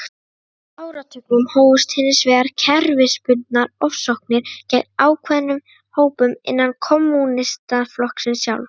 Á fjórða áratugnum hófust hins vegar kerfisbundnar ofsóknir gegn ákveðnum hópum innan kommúnistaflokksins sjálfs.